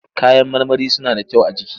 Kayan marmari suna da kyau a jiki.